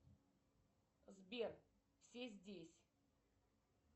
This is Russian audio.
сбер все здесь